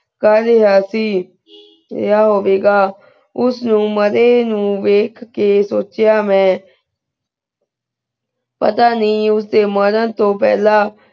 ਪਹਲੀ ਆ ਸੀ ਯਾ ਹੋਵੇ ਗਾ ਉਸ ਨੂ ਮਾਰੀ ਨੁ ਵਿਖ ਕੇ ਸੋਚਿਯ ਮੈਂ ਪਤਾ ਨਾਈ ਉਸ ਦੇ ਮਾਰਨ ਤੋ ਪਹਲਾ